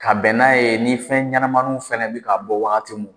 Ka bɛn n'a ye ni fɛn ɲɛnamaiw fana bɛ ka bɔ waati min na.